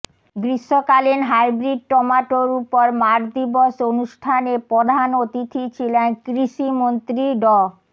গ্রীষ্মকালীন হাইব্রিড টমেটোর উপর মাঠ দিবস অনুষ্ঠানে প্রধান অতিথি ছিলেন কৃষিমন্ত্রী ড